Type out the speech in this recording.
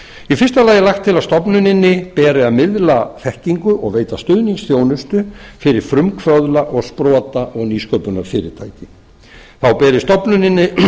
í fyrsta lagi er lagt til að stofnuninni beri að miðla þekkingu og veita stuðningsþjónustu fyrir frumkvöðla og sprota og nýsköpunarfyrirtæki þá beri stofnuninni